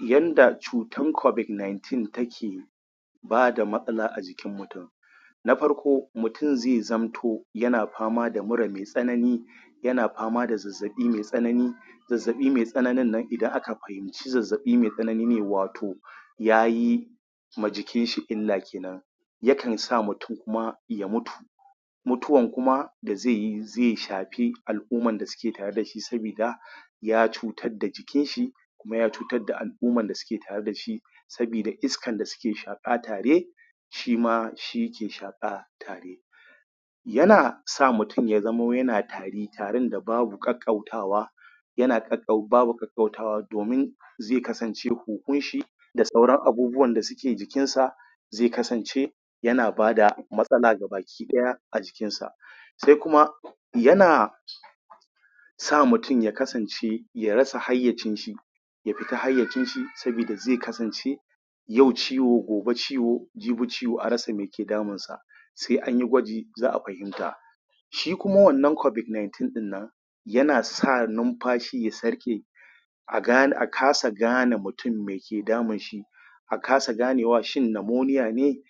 Yanda cutan covid-19 ta ke bada matsala a jikin mutun na farko, mutun zai zamto yana fama da mura mai tsanani yana fama da zazzaɓi mai tsanani zazzaɓi mai tsananin nan idan aka fahimci zazzaɓi mai tsanani ne wato yayi ma jikin shi illa kenan yakan sa mutun kuma ya mutu mutuwan kuma da zaiyi zai shafi al'umman da suke tare dashi sabida ya cutar da jikin shi kuma ya cutar da al'ummar da suke tare dashi sabida iskan da suke shaƙa tare shima shi ke shaƙa tare yana sa mutun ya zamo yana tari, tarin da babu ƙaƙƙautawa yana ƙaƙƙau.. babu ƙaƙƙautawa domin zai kasance huhun shi da sauran abubuwan da suke jikin sa zai kasance yana bada matsala ga baki ɗaya a jikin sa sai kuma yana Sa mutum ya kasance ya rasa hayyacin shi ya fita hayyacin shi sabida zai kasance yau ciwo gobe ciwo jibi ciwo a rasa mai ke damun sa sai anyi gwaji za'a fahimta shi kuma wannan covid-19 ɗin nan yana sa numfashi ya sarƙe a gane a kasa gane mutum meke damun shi a kasa ganewa shin namoniya ne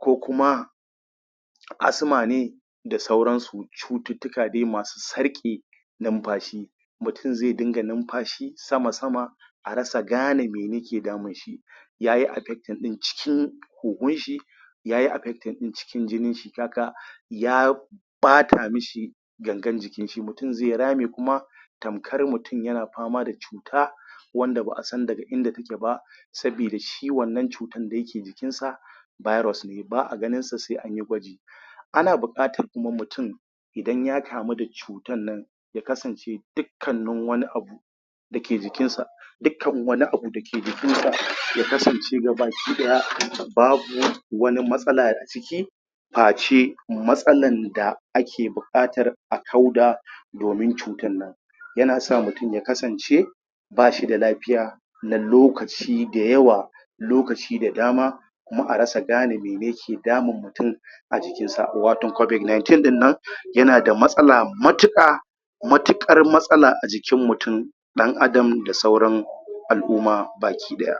ko kuma Asma ne da sauran su, cututtuka dai masu sarƙe numfashi mutun zai dunga numfashi sama-sama a rasa gane me yake damun shi yayi affecting ɗin cikin huhun shi yayi affecting ɗin cikin jinin shi ka ga ya ɓata mishi gangan jikin shi, mutum zai rame kuma tamkar mutum yana fama da cuta wanda ba'a san daga inda ta ke ba sabida shi wannan cutan da yake jikin sa virus ne ba'a ganin sa sai anyi gwaji ana buƙatan kuma mutum idan ya kamu da cutan nan ya kasance dikkannin wani abu dake jikin sa dikkan wani abu da yake jikin sa ya kasance ga baki ɗaya babu wani matsala aciki fa ce matsalan da ake buƙatar a kauda domin cutan nan yana sa mutum ya kasance bashi da lafiya na lokaci da yawa lokaci da dama kuma a rasa gane mene ke damun mutun a jikin sa, wato covid-19 ɗin nan yana da matsala matuƙa matuƙar matsala a jikin mutun ɗan adam, da sauran al'umma baki ɗaya